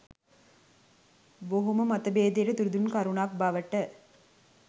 බොහොම මතභේදයට තුඩු දුන් කරුණක් බවට